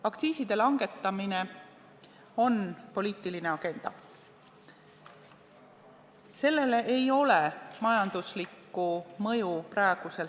Aktsiiside langetamine on poliitiline agenda, sellel ei ole praegusel hetkel majanduslikku mõju.